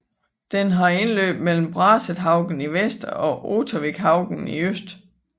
Den har indløb mellem Brasethaugen i vest og Otervikhaugen i øst